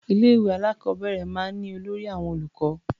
Ilé-ìwé alákọ̀ọ́bẹ̀rẹ̀ máa ń ní olórí àwọn olùkọ́.